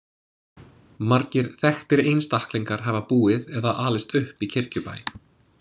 Margir þekktir einstaklingar hafa búið eða alist upp í Kirkjubæ.